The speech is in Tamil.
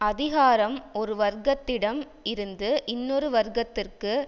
அதிகாரம் ஒரு வர்க்கத்திடம் இருந்து இன்னொரு வர்க்கத்திற்கு